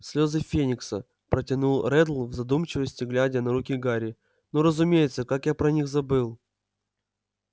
слёзы феникса протянул реддл в задумчивости глядя на руки гарри ну разумеется как я про них забыл